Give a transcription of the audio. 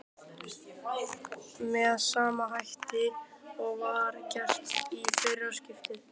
Andri: Með sama hætti og var gert í fyrra skiptið?